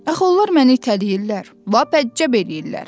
“Axı onlar məni itələyirlər, lap həccəb eləyirlər!”